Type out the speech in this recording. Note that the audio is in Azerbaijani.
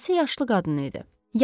Dayəsi yaşlı qadın idi.